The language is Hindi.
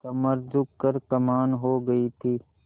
कमर झुक कर कमान हो गयी थी